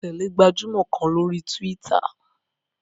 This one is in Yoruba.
Mo tẹ̀lẹ́ gbajúmọ̀ kan lórí túwítà